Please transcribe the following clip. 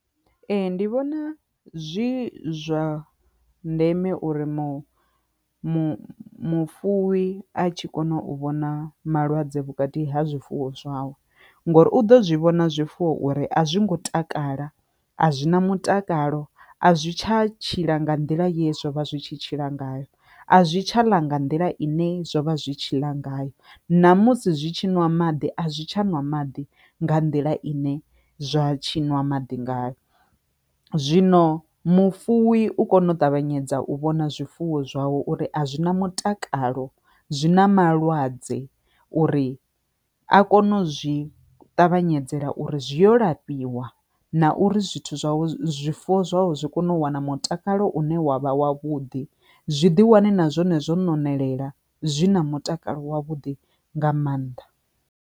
Ee, ndi vhona zwi zwa ndeme uri mufuwi a tshi kone u vhona malwadze vhukati ha zwifuwo zwawe ngori u ḓo zwi vhona zwifuwo uri a zwi ngo takala a zwina mutakalo a zwi tsha tshila nga nḓila ye zwo vha zwi tshi tshila ngayo a zwi tsha ḽa nga nḓila ine zwo vha zwi tshila ngayo ṋamusi zwi tshi ṅwa maḓi a zwi tsha ṅwa maḓi nga nḓila ine zwa tshi ṅwa maḓi ngayo, zwino mufuwi u kone u ṱavhanyedza u vhona zwifuwo zwawe uri a zwi na mutakalo zwi na malwadze uri a kone u zwi ṱavhanyedze ḽa uri zwi zwi yo lafhiwa na uri zwithu zwawe zwifuwo zwawe zwi kone u wana mutakalo une wavha wa vhuḓi zwi ḓi wane na zwone zwo no nwelela zwi na mutakalo wa vhuḓi nga mannḓa.